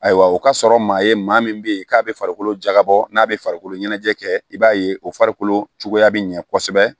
Ayiwa o ka sɔrɔ maa ye maa min bɛ ye k'a bɛ farikolo jagabɔ n'a bɛ farikolo ɲɛnajɛ kɛ i b'a ye o farikolo cogoya bɛ ɲɛ kosɛbɛ